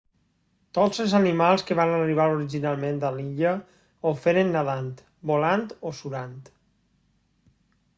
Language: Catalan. tots els animals que van arribar originalment a l'illa ho feren nadant volant o surant